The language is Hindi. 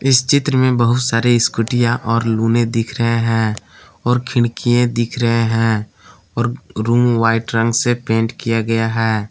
इस चित्र में बहुत सारी स्कूटीयां और लुने दिख रहे हैं और खिड़कियां दिख रहे हैं और रूम वाइट रंग से पेंट किया गया है।